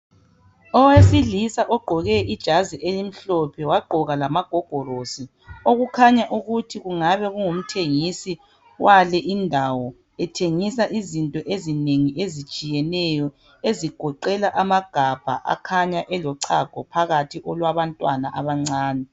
Owesilisa ogqqoke ijazi elimhlophe wagqoka lamagogorosi okukhanya ukuthi kungabe kungumthengisi wale indawo ethengisa izinto ezinengi ezitshiyeneyo ezigoqela amagabha akhanya elochago phakathi olwabantwana abancane.